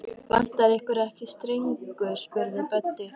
Vantar ykkur ekki stengur? spurði Böddi.